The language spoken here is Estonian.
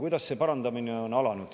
Kuidas see parandamine on alanud?